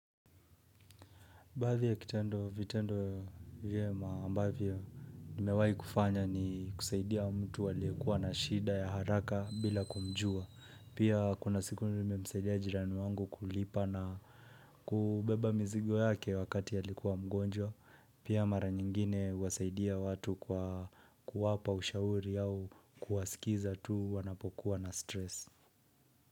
Baadhi ya kitendo vitendo ya ambavyo nimewahi kufanya ni kusaidia mtu alikuwa na shida ya haraka bila kumjua. Pia kuna siku nimemsaidia jirani wangu kulipa na kubeba mzigo yake wakati alikuwa mgonjwa. Pia mara nyingine huwasaidia watu kwa kuwapa ushauri au kuwasikiza tu wanapokuwa na stress.